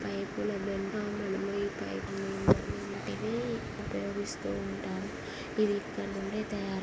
పైపుల పైపుల ప్రలాదిస్తూ ఉంటారు ఇవి ఇక్కడ నుండే తయా--